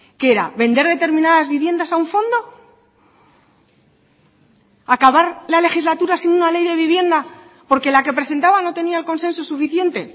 qué era vender determinadas viviendas a un fondo acabar la legislatura sin una ley de vivienda porque la que presentaban no tenía el consenso suficiente